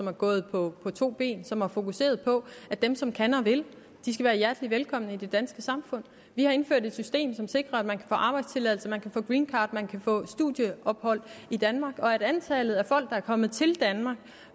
er gået på to ben og som har fokuseret på at dem som kan og vil skal være hjertelig velkomne i det danske samfund vi har indført et system som sikrer at man kan få arbejdstilladelse at man kan få greencard at man kan få studieophold i danmark og at antallet af folk der er kommet til danmark